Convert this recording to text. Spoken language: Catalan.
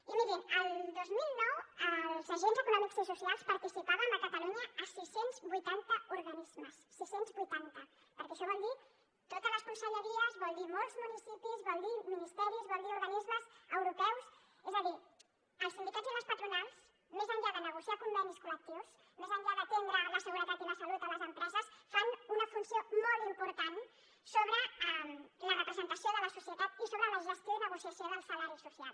i mirin el dos mil nueve els agents econòmics i socials participàvem a catalunya en seiscientos y ochenta organismes seiscientos y ochenta perquè això vol dir totes les conselleries vol dir molts municipis vol dir ministeris vol dir organismes europeus és a dir els sindicats i les patronals més enllà de negociar convenis col·lectius més enllà d’atendre la seguretat i la salut a les empreses fan una funció molt important sobre la representació de la societat i sobre la gestió i negociació del salari social